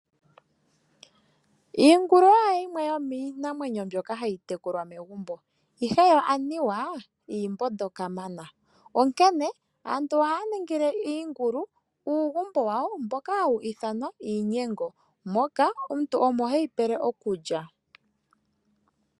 Iingulu oyo yimwe yomiinamwenyo mbyoka hayi tekulwa megumbo, ihe yo aniwa iimbondo kamana, onkene aantu ohaya ningile iingulu uugumbo wawo mboka hawu ithanwa iigunda moka omuntu omo heyi pele okulya.